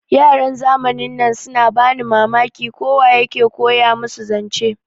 Yaran zamanin nan suna bani Mamaki, ko wa ya ke koya musu zance.